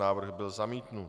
Návrh byl zamítnut.